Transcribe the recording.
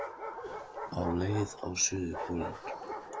Á leið á suðurpólinn